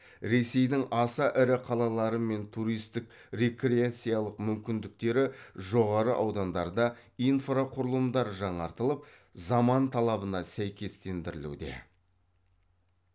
ресейдің аса ірі қалалары мен туристік рекреациялық мүмкіндіктері жоғары аудандарда инфрақұрылымдар жаңартылып заман талабына сәйкестендірілуде